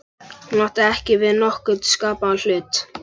Hún átti ekki við nokkurn skapaðan hlut.